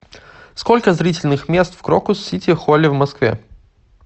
сколько зрительных мест в крокус сити холле в москве